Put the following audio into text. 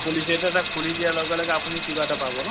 policy এটা তাক খুলি দিয়াৰ লগে লগে আপুনি কিবা এটা পাব ন।